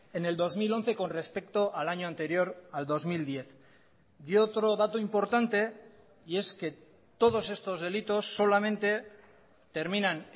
en el dos mil once con respecto al año anterior al dos mil diez y otro dato importante y es que todos estos delitos solamente terminan